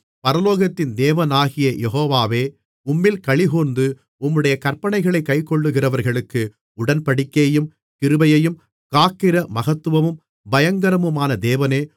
பரலோகத்தின் தேவனாகிய கர்த்தா யெகோவாவே உம்மில் அன்புகூர்ந்து உம்முடைய கற்பனைகளைக் கைக்கொள்ளுகிறவர்களுக்கு உடன்படிக்கையையும் கிருபையையும் காக்கிற மகத்துவமும் பயங்கரமுமான தேவனே